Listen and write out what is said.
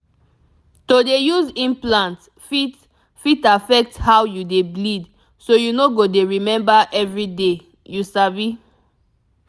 to dey use implants fit fit affect how you dey bleed so you no go dey remember everyday you sabi